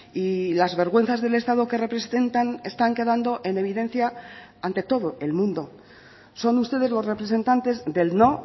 y las vergüenzas del estado que representan están quedando en evidencia ante todo el mundo son ustedes los representantes del no